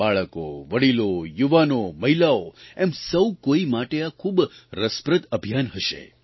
બાળકો વડીલો યુવાનો મહિલાઓ એમ સૌ કોઇ માટે આ ખૂબ રસપ્રદ અભિયાન હશે